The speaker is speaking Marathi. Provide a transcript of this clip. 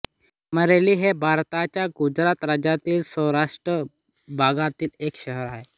अमरेली हे भारताच्या गुजरात राज्यातील सौराष्ट्र भागातील एक शहर आहे